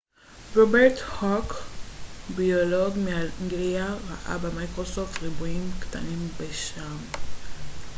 רוברט הוק ביולוג מאנגליה ראה במיקרוסקופ ריבועים קטנים בשעם